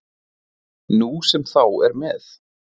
Nú sem þá er með